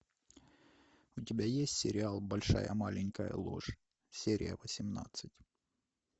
у тебя есть сериал большая маленькая ложь серия восемнадцать